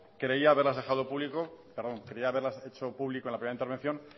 creía haberlas hecho público en la primera intervención